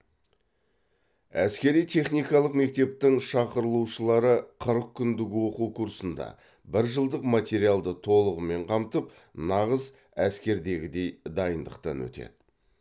әскери техникалық мектептің шақырылушылары қырық күндік оқу курсында бір жылдық материалды толығымен қамтып нағыз әскердегідей дайындықтан өтеді